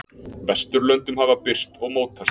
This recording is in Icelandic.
Vesturlöndum hafa birst og mótast.